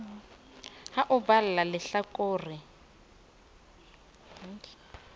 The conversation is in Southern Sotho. ho o balla lehla kore